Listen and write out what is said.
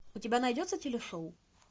у тебя найдется телешоу